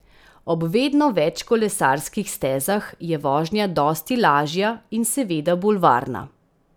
Ob vedno več kolesarskih stezah je vožnja dosti lažja in seveda bolj varna.